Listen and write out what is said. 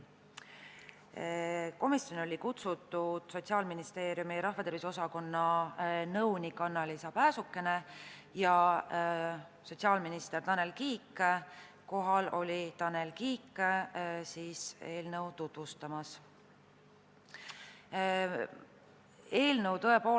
Komisjoni olid kutsutud Sotsiaalministeeriumi rahvatervise osakonna nõunik Anna-Liisa Pääsukene ja sotsiaalminister Tanel Kiik, kohal eelnõu tutvustamas oli Tanel Kiik.